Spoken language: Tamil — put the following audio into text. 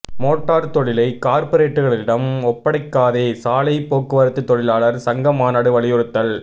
மோட்டார் தொழிலை கார்ப்பரேட்டுகளிடம் ஒப்படைக்காதே சாலை போக்குவரத்து தொழிலாளர் சங்க மாநாடு வலியுறுத்தல்